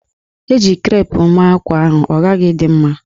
E ji krep mee ákwá ahụ, ọ ghaghị ịdị mma!